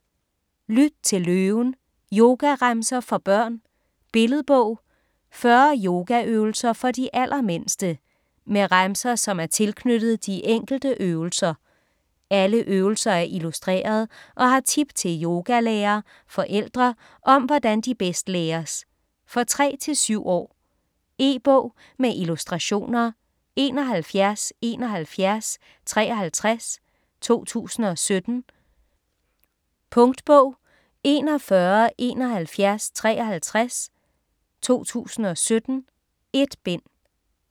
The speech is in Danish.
Lyt til løven: yogaremser for børn Billedbog. 40 yogaøvelser for de allermindste. Med remser, som er tilknyttet de enkelte øvelser. Alle øvelser er illustreret og har tip til yogalærer/forældre om hvordan de bedst læres. For 3-7 år. E-bog med illustrationer 717153 2017. Punktbog 417153 2017. 1 bind.